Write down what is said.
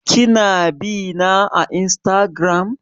Ki na bina a Instagram?